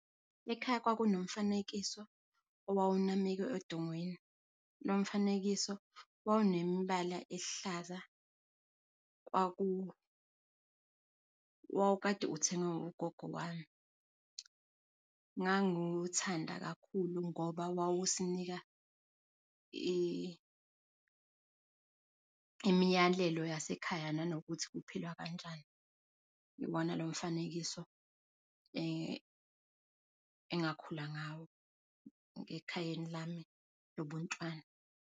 Ekhaya kwakunomfanekiso owawunamekwe edongweni, lomfanekiso wawunembala ehlaza kwaku, wawukade uthengwe ugogo wami. Ngangiwuthanda kakhulu ngoba wawusinika i imiyalelo yasekhaya nanokuthi uphila kanjani. Iwona lomfanekiso engakhula ngawo ekhayeni lami lobuntwana.